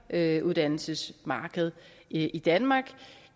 efteruddannelsesmarked i danmark